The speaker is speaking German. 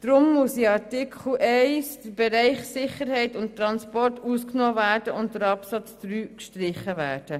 Darum muss in Artikel 1 der Bereich Sicherheit und Transport ausgenommen und der Absatz 3 gestrichen werden.